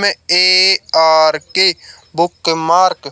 ARK bookmark --